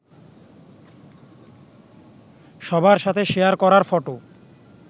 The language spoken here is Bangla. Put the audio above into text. সবার সাথে শেয়ার করার ফটো